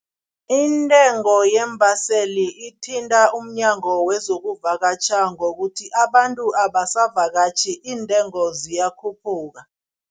Intengo yeembaseli ithinta umnyango wezokuvakatjha ngokuthi, abantu abasavakatjhi, iintengo ziyakhuphuka.